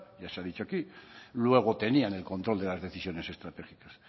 ya se ha dicho aquí luego tenían el control de las decisiones estratégicas